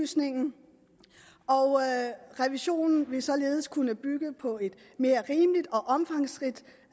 og revisionen vil således kunne bygge på et mere rimeligt og omfangsrigt